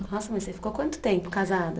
Nossa, mas você ficou quanto tempo casada?